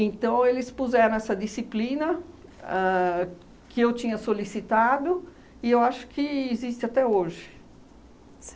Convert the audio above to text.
eles puseram essa disciplina a que eu tinha solicitado e eu acho que existe até hoje.